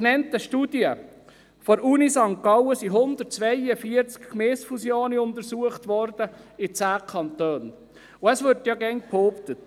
Die Studie der Universität St. Gallen untersuchte 142 Gemeindefusionen in 10 Kantonen.